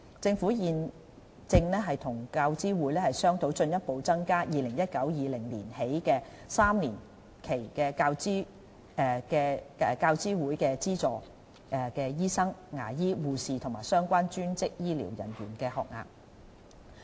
政府現正與教資會商討在 2019-2020 學年起的3年期，進一步增加教資會資助醫生、牙醫、護士和相關專職醫療人員的學額。